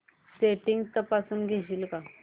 settings तपासून घेशील का